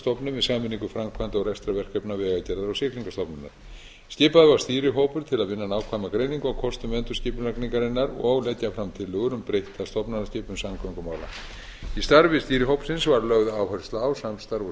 rekstrarstofnun með sameiningu framkvæmda og rekstrarverkefna vegagerðar og siglingastofnunar skipaður var stýrihópur til að vinna nákvæma greiningu á kostum endurskipulagningarinnar og leggja fram tillögur um breytta stofnanaskipan samgöngumála í starfi stýrihópsins var lögð áhersla á samstarf og samráð